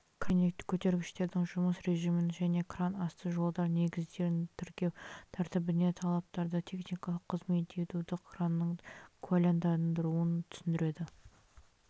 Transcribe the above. кран және көтергіштердің жұмыс режимін және кран асты жолдары негіздерін тіркеу тәртібіне талаптарды техникалық қызмет етуді кранның куәландырылуын түсіндіреді